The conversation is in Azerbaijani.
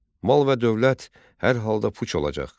Mal və dövlət hər halda puç olacaq.